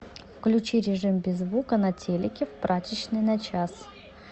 включи режим без звука на телике в прачечной на час